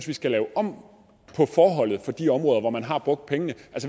vi skal lave om på forholdet for de områder hvor man har brugt pengene